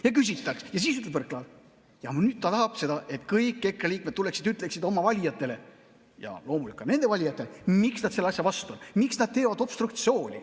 Ja siis ütleb Võrklaev, et nüüd ta tahab seda, et kõik EKRE liikmed tuleksid ja ütleksid oma valijatele – ja loomulikult ka nende valijatele –, miks nad selle asja vastu on, miks nad teevad obstruktsiooni.